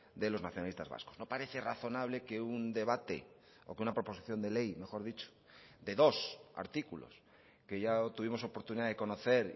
de los nacionalistas vascos no parece razonable que un debate o que una proposición de ley mejor dicho de dos artículos que ya tuvimos oportunidad de conocer